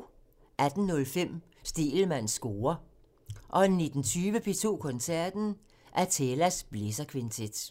18:05: Stegelmanns score (tir) 19:20: P2 Koncerten – Athelas blæserkvintet